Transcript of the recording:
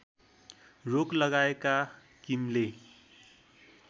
रोक लगाएका किमले